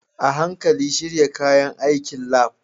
A hankali shirya kayan aikin lab.